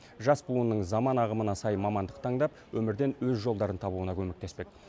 жас буынның заман ағымына сай мамандық таңдап өмірден өз жолдарын табуына көмектеспек